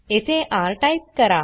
येथे र टाइप करा